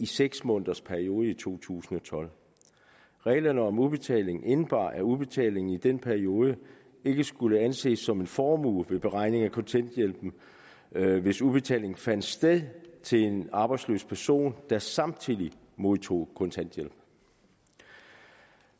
seks måneders periode i to tusind og tolv reglerne om udbetalingen indebar at udbetalingen i den periode ikke skulle anses som en formue ved beregning af kontanthjælpen hvis udbetalingen fandt sted til en arbejdsløs person der samtidig modtog kontanthjælp